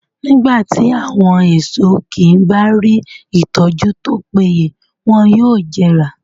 Nígbà tí àwọn èso kí bá rí ìtọ́jú tó péye wọn yóò jẹrà.